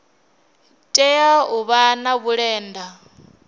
tea u vha na vhulenda